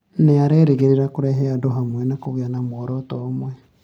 Nĩ arerĩgĩrĩra kũrehe andũ hamwe na kũgĩa na muoroto ũmwe